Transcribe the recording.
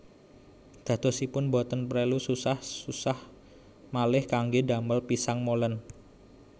Dadosipun boten prelu susah susah malih kanggé damel pisang molen